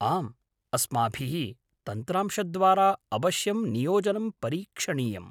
आम्, अस्माभिः तन्त्रांशद्वारा अवश्यं नियोजनं परीक्षणीयम्।